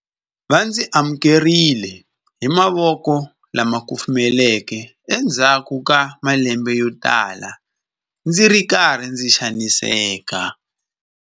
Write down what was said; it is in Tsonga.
Va ndzi amukerile hi mavoko lama kufumelaka endzhaku ka malembe yotala ndzi ri karhi ndzi xaniseka.